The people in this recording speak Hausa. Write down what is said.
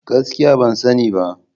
Gaskiya! Ban sani ba.